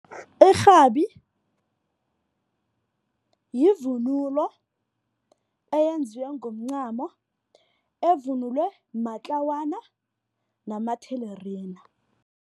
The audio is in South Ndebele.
Irhabi yivunulo eyenziwe ngomncamo. Evunulwe matlawana namathelerina.